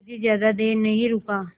मुखर्जी ज़्यादा देर नहीं रुका